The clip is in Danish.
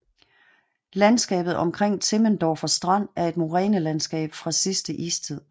Landskabet omkring Timmendorfer Strand er et morænelandskab fra sidte istid